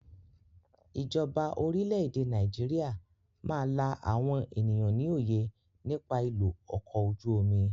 Ìjọba orílẹ̀ èdè Nàìjíríà máa la àwọn ènìyàn ní òye nípa ìlò ọkọ ojú omi.